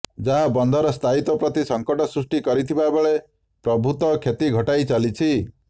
ଯାହା ବନ୍ଧର ସ୍ଥାୟୀତ୍ୱ ପ୍ରତି ସଂକଟ ସୃଷ୍ଟି କରିଥିବାବେଳେ ପ୍ରଭୂତ କ୍ଷତି ଘଟାଇ ଚାଲିଛି